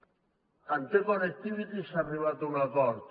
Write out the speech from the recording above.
amb te connectivity s’ha arribat a un acord